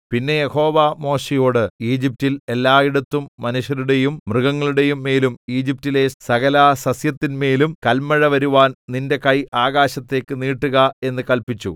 പിന്നെ യഹോവ മോശെയോട് ഈജിപ്റ്റിൽ എല്ലായിടത്തും മനുഷ്യരുടെയും മൃഗങ്ങളുടെയും മേലും ഈജിപ്റ്റിലെ സകലസസ്യത്തിന്മേലും കല്മഴ വരുവാൻ നിന്റെ കൈ ആകാശത്തേക്ക് നീട്ടുക എന്ന് കല്പിച്ചു